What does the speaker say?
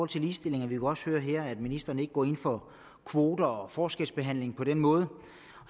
til ligestilling og vi kunne også høre her at ministeren ikke går ind for kvoter og forskelsbehandling på den måde